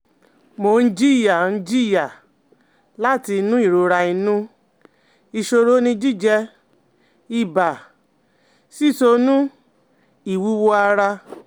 Mo n jiya n jiya lati inu irora inu, iṣoro ni jijẹ, iba, sisọnu iwuwo ara